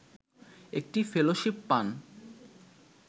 একটি ফেলোশিপ পান